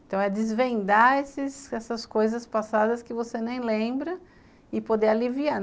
Então é desvendar essas coisas passadas que você nem lembra e poder aliviar.